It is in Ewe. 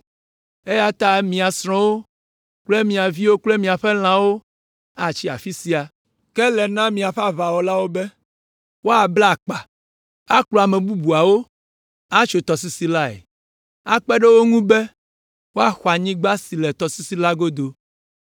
eya ta mia srɔ̃wo kple mia viwo kple miaƒe lãwo atsi afi sia. Ke ele na miaƒe aʋawɔlawo be woabla akpa, akplɔ ame bubuawo atso tɔsisi lae, akpe ɖe wo ŋu be, woaxɔ anyigba si le tɔsisi la godo.